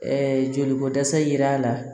joli ko dɛsɛ ye l'a la